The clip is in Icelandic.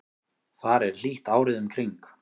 þar er hlýtt árið um kring